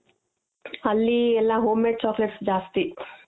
ಅಲ್ಲಿ ಎಲ್ಲ homemade chocolates ಜಾಸ್ತಿ